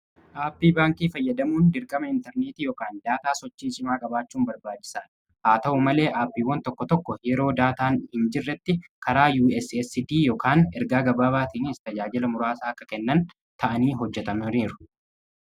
aappii baankii fayyadamuun dirgama intarneetii ykan daataa sochii simaa gabaachuun barbaajisaan haa ta'u malee aappiiwwan tokko tokko yeroo daataan hin jirretti karaa uscdy ergaa gabaa baatiinis tajaajila muraasaa akka kennan ta'anii hojjetamnoniiru